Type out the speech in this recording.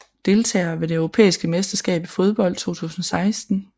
Deltagere ved det europæiske mesterskab i fodbold 2016